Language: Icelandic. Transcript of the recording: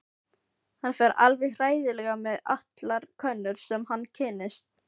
Hann fer alveg hræðilega með allar konur sem hann kynnist.